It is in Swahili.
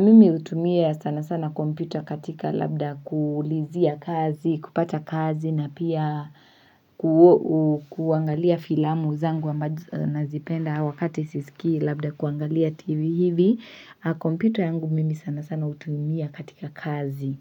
Mimi hutumia sana sana kompyota katika labda kuulizia kazi, kupata kazi na pia kuangalia filamu zangu ambazo nazipenda wakati sisikii labda kuangalia tv hivi. Kompyuta yangu mimi sana sana hutumia katika kazi